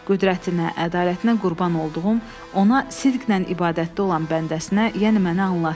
Qüdrətinə, ədalətinə qurban olduğum, ona sidqlə ibadətdə olan bəndəsinə, yəni mənə anlatdı.